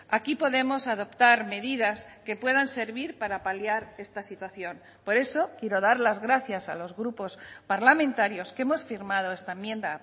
aquí podemos adoptar medidas que puedan servir para paliar esta situación por eso quiero dar las gracias a los grupos parlamentarios que hemos firmado esta enmienda